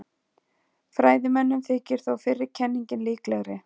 Fræðimönnum þykir þó fyrri kenningin líklegri.